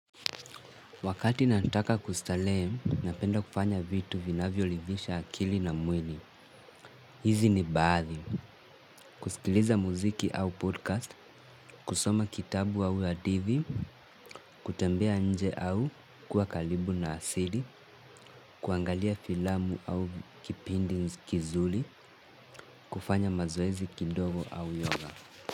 Wakati nataka kustarehe, napenda kufanya vitu vinavyo ridhisha akili na mwili. Hizi ni baadhi kusikiliza muziki au podcast, kusoma kitabu au hadithi kutembea nje au kuwa karibu na asili, kuangalia filamu au kipindi kizuri, kufanya mazoezi kidogo au yoga.